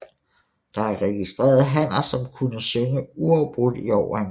Der er registreret hanner som kunne synge uafbrudt i over en time